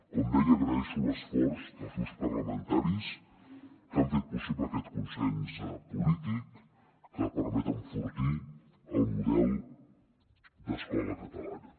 com deia agraeixo l’esforç dels grups parlamentaris que han fet possible aquest consens polític que permet enfortir el model d’escola catalana